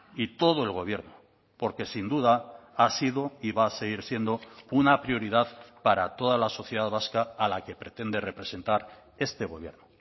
y todo el gobierno porque sin duda ha sido y va a seguir siendo una prioridad para toda la sociedad vasca a la que pretende representar este gobierno